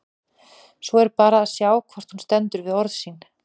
Svo er bara að sjá hvort hún stendur við orð sín!